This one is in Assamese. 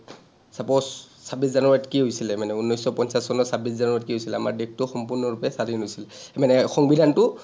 ছাব্বিছ জানুৱাৰীত কি হৈছিলে মানে, ঊনৈশ শ পঞ্চাছ চনৰ ছাব্বিছ জানুৱাৰীত কি হৈছিলে, আমাৰ দেশটো সম্পূৰ্ণৰূপে স্বাধীন হৈছিল। মানে সংবিধানটো